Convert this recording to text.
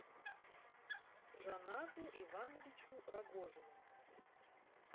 жанату ивановичу рогожину